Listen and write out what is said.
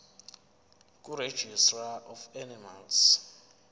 kuregistrar of animals